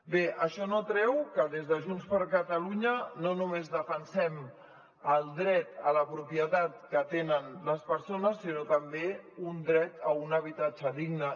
bé això no treu que des de junts per catalunya no només defensem el dret a la propietat que tenen les persones sinó també un dret a un habitatge digne